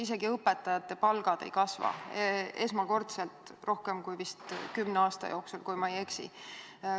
Isegi õpetajate palgad ei kasva esmakordselt rohkem kui vist kümne aasta jooksul, kui ma ei eksi.